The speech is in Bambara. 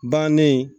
Bannen